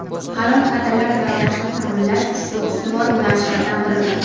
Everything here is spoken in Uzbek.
halol kadrlar tayyorlashni taʼminlash ushbu ustuvor yo‘nalishlardan biridir.